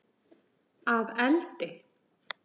Að eldi?